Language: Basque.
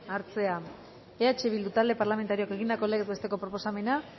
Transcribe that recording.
hartzea eh bildu talde parlamentarioak egindako legez besteko proposamena